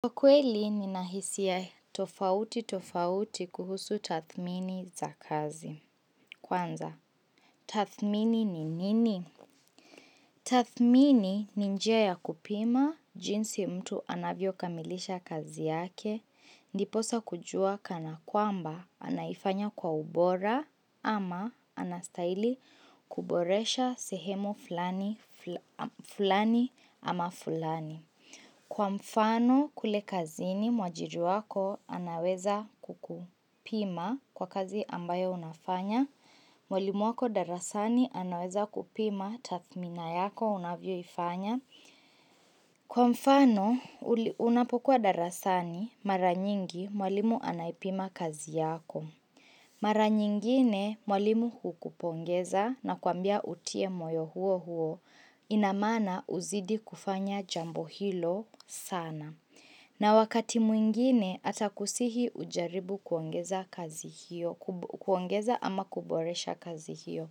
Kwa kweli nina hisia tofauti tofauti kuhusu tathmini za kazi. Kwanza, tathmini ni nini? Tathmini ni njia ya kupima, jinsi mtu anavyo kamilisha kazi yake, ndiposa kujua kana kwamba anaifanya kwa ubora ama anastahili kuboresha sehemu fulani ama fulani. Kwa mfano kule kazini mwajiri wako anaweza kukupima kwa kazi ambayo unafanya. Mwalimu wako darasani anaweza kupima tathmina yako unavyoifanya. Kwa mfano unapokuwa darasani mara nyingi mwalimu anaipima kazi yako. Mara nyingine mwalimu hukupongeza na kuambia utie moyo huo huo ina maana uzidi kufanya jambo hilo sana. Na wakati mwingine, atakusihi ujaribu kuongeza ama kuboresha kazi hiyo.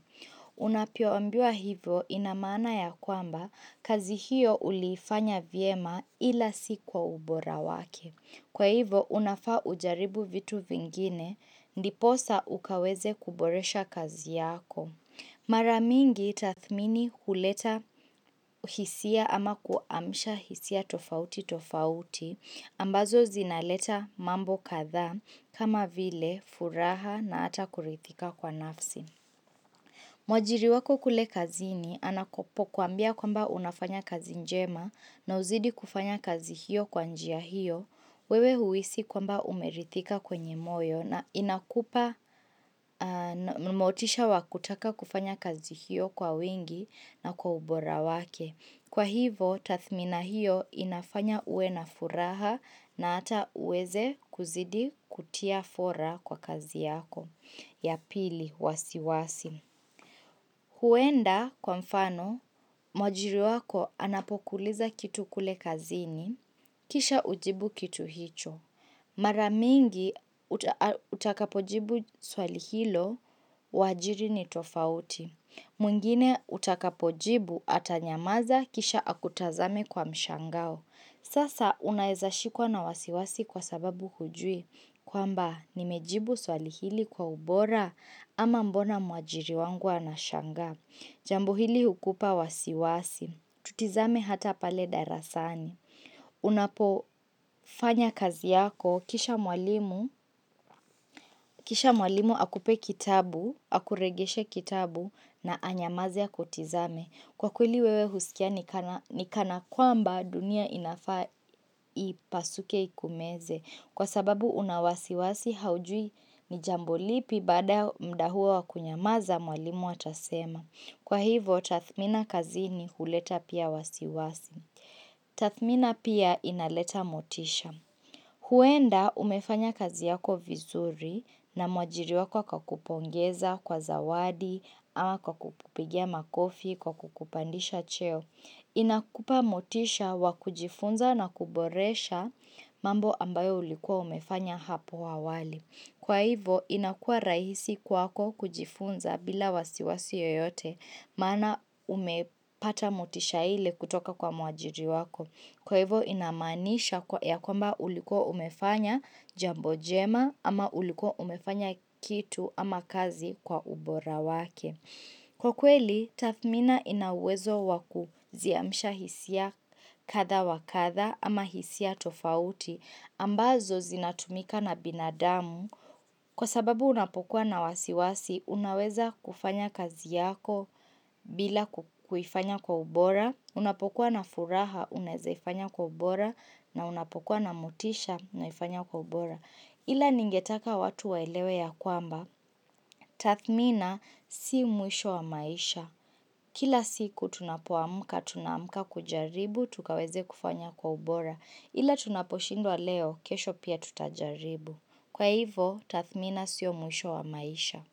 Unapoambiwa hivyo ina maana ya kwamba kazi hiyo uliifanya vyema ila si kwa ubora wake. Kwa hivyo, unafaa ujaribu vitu vingine, ndiposa ukaweze kuboresha kazi yako. Mara mingi tathmini huleta hisia ama kuamsha hisia tofauti tofauti ambazo zinaleta mambo kadhaa kama vile furaha na ata kuridhika kwa nafsi. Mwajiri wako kule kazini anapokuambia kwamba unafanya kazi njema na uzidi kufanya kazi hiyo kwa njia hiyo, wewe huhisi kwamba umeridhika kwenye moyo na inakupa motisha wa kutaka kufanya kazi hiyo kwa wingi na kwa ubora wake. Kwa hivo, tathmina hiyo inafanya uwe na furaha na ata uweze kuzidi kutia fora kwa kazi yako. Ya pili wasiwasi. Huenda kwa mfano, mwajiri wako anapokuuliza kitu kule kazini, kisha ujibu kitu hicho. Mara mingi utakapojibu swali hilo, uajiri ni tofauti. Mwingine utakapojibu atanyamaza kisha akutazame kwa mshangao. Sasa unaeza shikwa na wasiwasi kwa sababu hujui. Kwamba nimejibu swali hili kwa ubora ama mbona mwajiri wangu anashangaa. Jambo hili hukupa wasiwasi. Tutizame hata pale darasani. Unapofanya kazi yako, kisha mwalimu, kisha mwalimu akupe kitabu, akuregeshee kitabu na anyamaze akutizame. Kwa kweli wewe husikia ni kana kwamba dunia inafaa ipasuke ikumeze. Kwa sababu una wasiwasi haujui ni jambo lipi baada ya mda huo wa kunyamaza mwalimu atasema. Kwa hivo tathmina kazini kuleta pia wasiwasi. Tathmina pia inaleta motisha. Huenda umefanya kazi yako vizuri na mwajiri wako akakupongeza kwa zawadi ama kwa kukupigia makofi kwa kukupandisha cheo. Inakupa motisha wa kujifunza na kuboresha mambo ambayo ulikuwa umefanya hapo awali. Kwa hivo inakua rahisi kwako kujifunza bila wasiwasi yoyote maana umepata motisha ile kutoka kwa muajiri wako. Kwa hivo inamaanisha kwa ya kwamba ulikuwa umefanya jambo jema ama ulikuwa umefanya kitu ama kazi kwa ubora wake. Kwa kweli, Tathmina ina uwezo wa kuziamisha hisia kadha wa katha ama hisia tofauti ambazo zinatumika na binadamu kwa sababu unapokuwa na wasiwasi unaweza kufanya kazi yako bila kuifanya kwa ubora, unapokuwa na furaha unaezaifanya kwa ubora na unapokuwa na motisha unaifanya kwa ubora. Ila ningetaka watu waelewe ya kwamba, tathmina si mwisho wa maisha. Kila siku tunapoamka, tunaamka kujaribu, tukaweze kufanya kwa ubora. Ila tunaposhindwa leo, kesho pia tutajaribu. Kwa hivo, tathmina sio mwisho wa maisha.